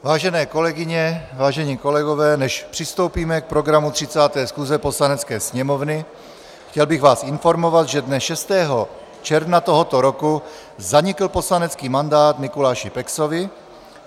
Vážené kolegyně, vážení kolegové, než přistoupíme k programu 30. schůze Poslanecké sněmovny, chtěl bych vás informovat, že dne 6. června tohoto roku zanikl poslanecký mandát Mikuláši Peksovi.